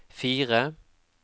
fire